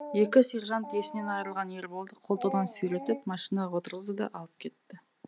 екі сержант есінен айырылған ерболды қолтығынан сүйретіп машинаға отырғызды да алып кетті